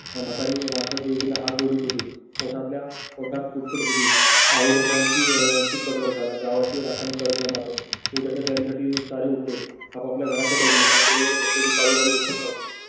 म्हातारी माणसं देवीला हात जोडीत होती. ओठातल्या ओठात पुटपुटत होती. आई लेकरांची आह खूप त्रास झाला. गावाची राखण कर ग मते उद्याच्या तयारी साठी सारे उठले. आपापल्या घराकडे गेले पण डोईवर बसलेली काळूबाई उतरत होती